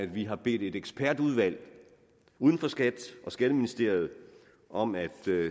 vi har bedt et ekspertudvalg uden for skat og skatteministeriet om at